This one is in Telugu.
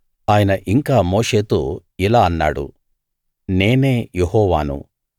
ఆయన ఇంకా మోషేతో ఇలా అన్నాడు నేనే యెహోవాను